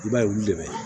I b'a ye olu de bɛ